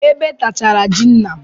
Ebe tachara ji nna m.